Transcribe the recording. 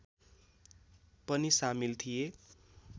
पनि सामिल थिए